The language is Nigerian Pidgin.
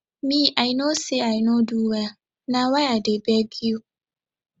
mei no say i no do well na why i dey beg you